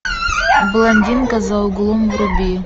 блондинка за углом вруби